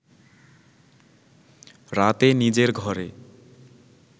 রাতে নিজের ঘরে